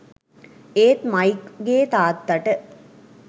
ඒත් මයික් ගේ තාත්තට